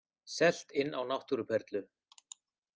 Selt inn á náttúruperlu